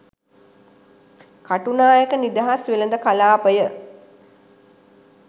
කටුනායක නිදහස් වෙළෙඳ කළාපය